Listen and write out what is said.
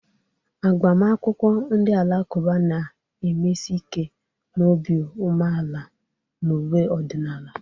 Agbamakwụkwọ ndị Alakụba na-emesi ike na obi umeala na uwe ọdịnala..